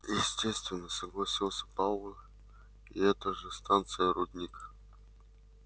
естественно согласился пауэлл это же станция рудник